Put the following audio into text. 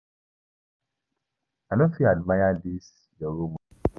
I no fit admire dis your role model, im no get respect for pipo.